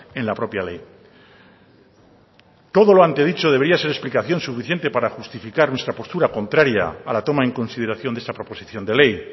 en la propia ley todo lo antedicho debería ser explicación suficiente para justificar nuestra postura contraria a la toma en consideración de esta proposición de ley